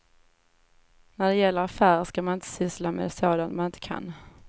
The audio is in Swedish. När det gäller affärer ska man inte syssla med sådant man inte kan.